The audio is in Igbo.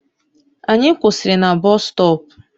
Anyị kwụsịrị na busutopu